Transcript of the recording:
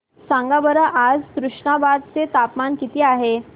सांगा बरं आज तुष्णाबाद चे तापमान किती आहे